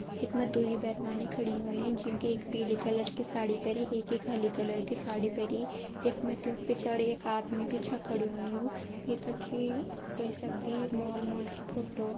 यक मे दुई बेरबानी खड़ी हुईं ज्युं के एक पीले कलर की साड़ी पेरी एक एक हली कलर की साड़ी पेरी। यक मैत्यूंक पिछाड़ि एक आदमी भी छ खड़ु होयुं। ये कखि ह्वे सगदी मॉल मूल की फोट्टो ।